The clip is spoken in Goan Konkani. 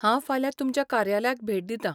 हांव फाल्यां तुमच्या कार्यालयाक भेट दितां.